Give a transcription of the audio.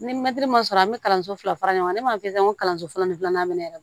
Ni mɛtiri ma sɔrɔ an bɛ kalanso fila fara ɲɔgɔn kan ne b'a fɔ n ko kalanso fɔlɔ ni filanan bɛ ne yɛrɛ bolo yɛrɛ